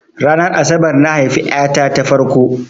Ranar asabar na haifa ƴa ta ta farko.